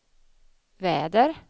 väder